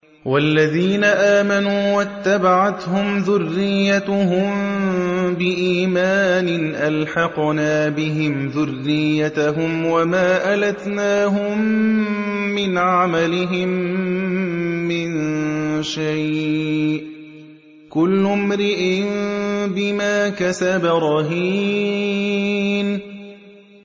وَالَّذِينَ آمَنُوا وَاتَّبَعَتْهُمْ ذُرِّيَّتُهُم بِإِيمَانٍ أَلْحَقْنَا بِهِمْ ذُرِّيَّتَهُمْ وَمَا أَلَتْنَاهُم مِّنْ عَمَلِهِم مِّن شَيْءٍ ۚ كُلُّ امْرِئٍ بِمَا كَسَبَ رَهِينٌ